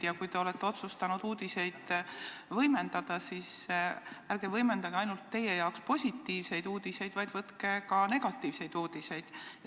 Kui te olete otsustanud uudiseid võimendada, siis ärge võimendage ainult teie jaoks positiivseid uudiseid, vaid võtke hulka ka negatiivseid uudiseid.